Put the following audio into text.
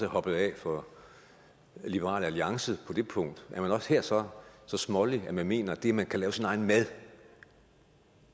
hoppet af for liberal alliance på det punkt er man også her så smålig at man mener at det at man kan lave sin egen mad